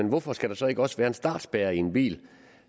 hvorfor skal der så ikke også være en startspærre i en bil